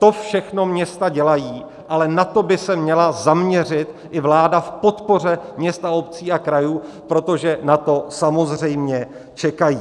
To všechno města dělají, ale na to by se měla zaměřit i vláda v podpoře měst, obcí a krajů, protože na to samozřejmě čekají.